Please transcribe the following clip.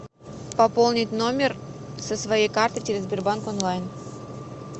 пополнить номер со своей карты через сбербанк онлайн